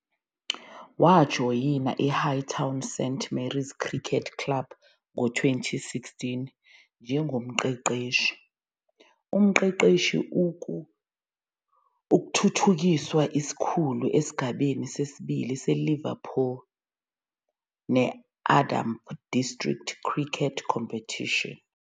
Wajoyina i-Hightown St. Mary's Cricket Club ngo-2016 njengomqeqeshi-umqeqeshi-ukuthuthukiswa-isikhulu esigabeni sesibili se- Liverpool and District Cricket Competition.